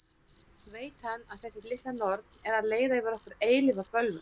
Veit hann að þessi litla norn er að leiða yfir okkur eilífa bölvun?